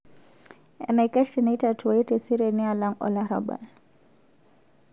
Enaikash teneitatuai teseriani alang' olarrabal